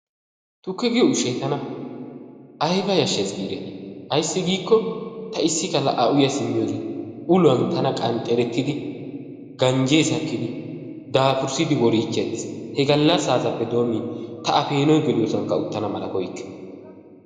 Tukke giyo ushshay tanna aybba yashshes giidetti ayssi giikko ta issi galla a uya simin ulluwaan tana qanxeretidi ganjje sakkidi daafursidi worichidi aattis, he galassasappe doomin ta peenoy geliyossankka uttana malla koyikke.